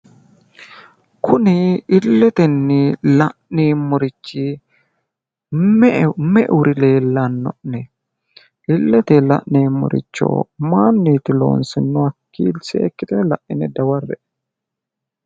kuni illetenni la'neemorichi meuri leellano'ne?, illete la'neemmoricho mayiiniiti loonsanihu?, seekkitine la'ine dawarre''e.